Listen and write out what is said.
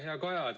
Hea Kaja!